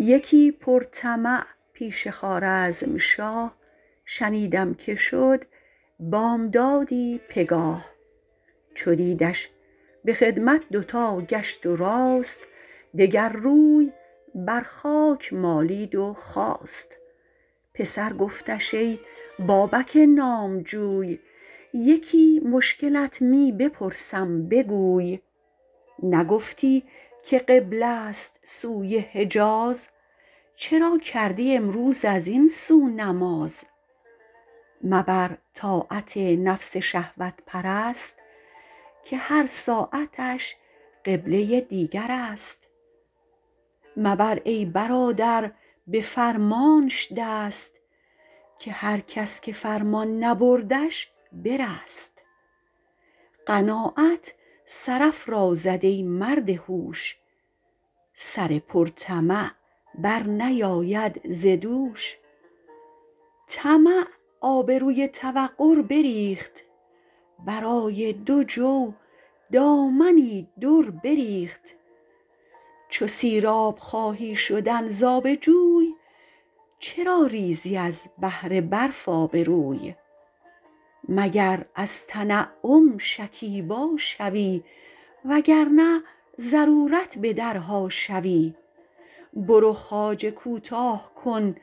یکی پر طمع پیش خوارزمشاه شنیدم که شد بامدادی پگاه چو دیدش به خدمت دوتا گشت و راست دگر روی بر خاک مالید و خاست پسر گفتش ای بابک نامجوی یکی مشکلت می بپرسم بگوی نگفتی که قبله ست سوی حجاز چرا کردی امروز از این سو نماز مبر طاعت نفس شهوت پرست که هر ساعتش قبله دیگر است مبر ای برادر به فرمانش دست که هر کس که فرمان نبردش برست قناعت سرافرازد ای مرد هوش سر پر طمع بر نیاید ز دوش طمع آبروی توقر بریخت برای دو جو دامنی در بریخت چو سیراب خواهی شدن ز آب جوی چرا ریزی از بهر برف آبروی مگر از تنعم شکیبا شوی وگرنه ضرورت به درها شوی برو خواجه کوتاه کن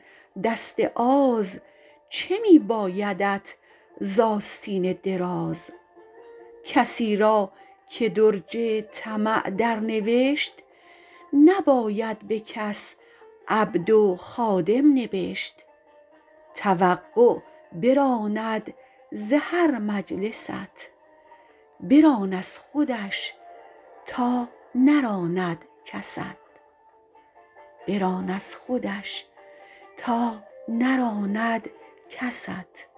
دست آز چه می بایدت ز آستین دراز کسی را که درج طمع در نوشت نباید به کس عبد و خادم نبشت توقع براند ز هر مجلست بران از خودش تا نراند کست